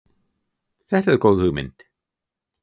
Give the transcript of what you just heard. Þetta er góð hugmynd.